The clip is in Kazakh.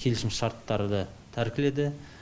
келісімшарттарды тәркіледі